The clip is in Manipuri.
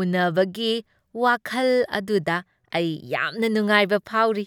ꯎꯟꯅꯕꯒꯤ ꯋꯥꯈꯜ ꯑꯗꯨꯗ ꯑꯩ ꯌꯥꯝꯅ ꯅꯨꯡꯉꯥꯏꯕ ꯐꯥꯎꯔꯤ꯫